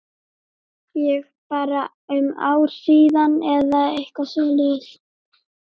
Ég bara um ár síðan eða eitthvað svoleiðis?